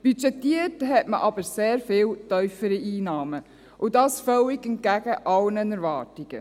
Budgetiert hat man aber sehr viel tiefere Einnahmen, und dies völlig entgegen alle Erwartungen.